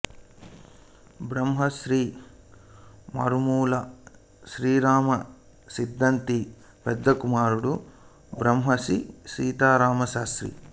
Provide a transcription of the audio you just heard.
బ్రహ్మశ్రీ మరుమాముల శ్రీరామ సిద్ధాంతి పెద్ద కుమారుడు బ్రహ్మశ్రీ సీతారామశర్మ